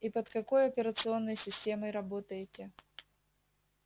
и под какой операционной системой работаете